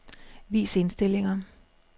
Vis indstillinger.